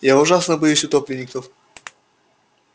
я ужасно боюсь утопленников